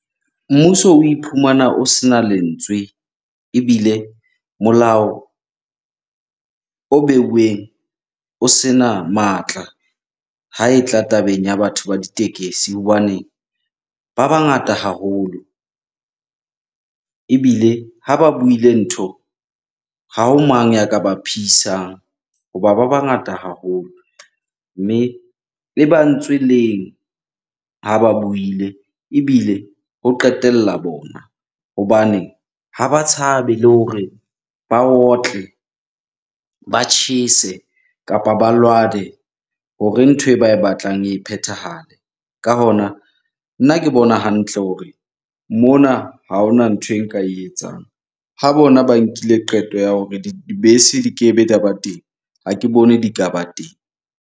Mmuso o iphumana o sena lentswe ebile molao o beuweng o sena matla ha e tla tabeng ya batho ba ditekesi. Hobane ba bangata haholo ebile ha ba buile ntho, ha ho mang ya ka ba pheisang hoba ba bangata haholo. Mme e ba ntswe leng ha ba buile ebile ho qetella bona hobane ha ba tshabe le hore ba otle, ba tjhese kapa ba lwane hore ntho e ba e batlang e phethahale. Ka hona, nna ke bona hantle hore mona ha hona ntho e nka e etsang. Ha bona ba nkile qeto ya hore dibese di kebe di a ba teng, ha ke bone di ka ba teng.